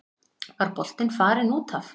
Var boltinn farinn út af?